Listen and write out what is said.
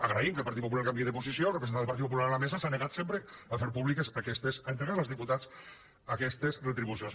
agraint que el partit popular canvie de posició el representant del partit popular a la mesa s’ha negat sempre a fer públiques a entregar als diputats aquestes retribucions